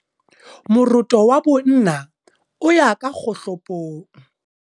Moroto wa bonna o ya ka kgohlopong.